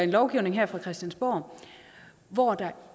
lovgivning her fra christiansborg hvor der